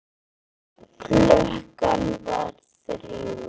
Klukkan var þrjú.